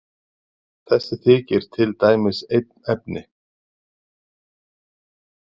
Þessi þykir til dæmis einn efni.